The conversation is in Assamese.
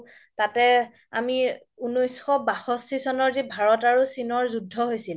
তাতে আমি উনৈশ বাসখি চনৰ যি ভাৰত আৰু চীনৰ যি যুদ্ধ হৈছিল